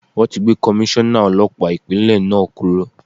Wọn ti gbé Komíṣọ́nà Ọlọ́pàá Ìpínlẹ̀ náà kúrò.